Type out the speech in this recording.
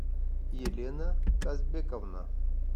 елена казбековна